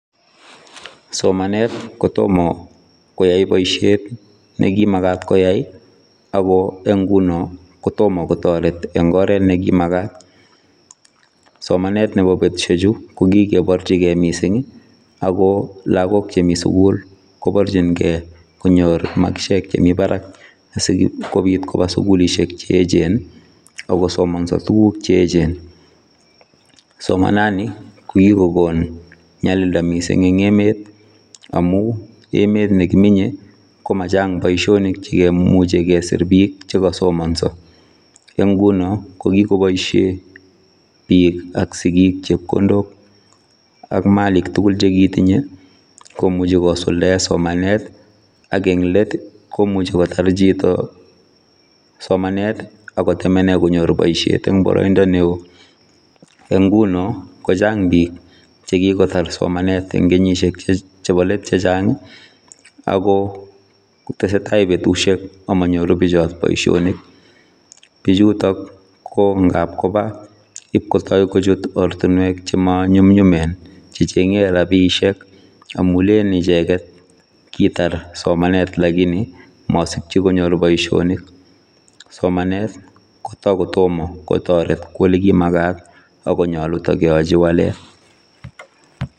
Somanet kotamah koyai boisiet nekimagaat koyai ii ako en ngunoo kotomah kotaret en oret nekimagaat, somanet nebo betusiek chuu ko kikebarjii gei missing ago lagook che Mii sugul kibarjiin gei konyoor maskisiek chemii Barak sikobiit kobaa sugulisheek che eechen ii ako somansaa tuguuk che eechen, somanaan ni ko kikokoon nyalildaa en emanii amuun emeet nekimii komachaang boisionik chekimuchei kesir biik chekasomansaa en ngunoo ko kikobaishen biik ak sigiik chepkondook ak Malik tugul chekitinyei komuchei kisultaen somanet ii ak eng let komuchei kotaar chitoo somanet ii ago temenen konyoor boisiet en baraindaa ne wooh, en ngunoo ko chaang biik chekikotaar somanet en kenyisiek chebo let chechaang ako tesetai betusiek amanyoruu bichotoon boisionik, bichutoon ko ngaal kobaa in kotai kochuut ortinweek chemaa nyumnyum en che chengei ichegeet amun lelen ichegeet kitaar somanet lakini masikyii konyoor boisioniik ,somanet ko takotomah koyai en ole magaat ako nyaluu takeyachii waleet.